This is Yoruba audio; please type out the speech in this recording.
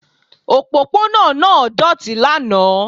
Òpópónà náà doti lánàá